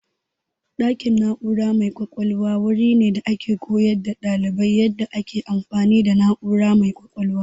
Ɗakin na'ura mai ƙwaƙwalwa wuri ne da ake koyar da ɗalibai yadda ake amfani da na'ura mai ƙwaƙwalwa.